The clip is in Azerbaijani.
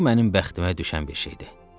Bu mənim bəxtimə düşən bir şeydir.